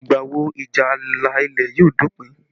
Ìgbà wo ìjà ààlà ilẹ̀ yóò dópin?